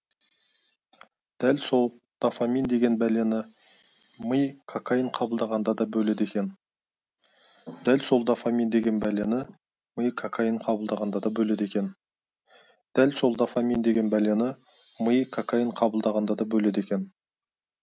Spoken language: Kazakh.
дәл сол дофамин деген бәлені ми кокаин қабылдағанда да бөледі екен дәл сол дофамин деген бәлені ми кокаин қабылдағанда да бөледі екен дәл сол дофамин деген бәлені ми кокаин қабылдағанда да бөледі екен